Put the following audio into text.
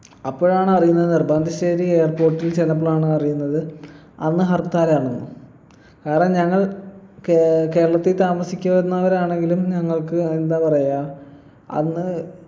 അപ്പോഴാണ് അറിയുന്നത് നെടുമ്പാശേരി airport ൽ ചെല്ലുമ്പോളാണ് അറിയുന്നത് അന്ന് ഹർത്താൽ ആണെന്ന് ആട ഞങ്ങൾ കെ കേരളത്തിൽ താമസിക്കുന്നവരാണെങ്കിലും ഞങ്ങൾക്ക് എന്താ പറയാ അന്ന്